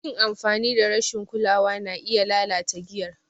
Yin amfani da rashin kulawa na iya lalata giyar.